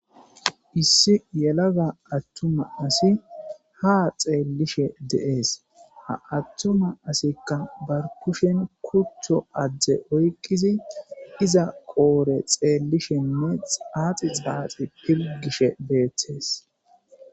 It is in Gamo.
issi yelaga attuma asi ha xeellishe de7ees ha attuma asikka barkushen kuththo adje oykqizi iza qoore xeellishenne xaaxi xaaxi pilgishe beethtees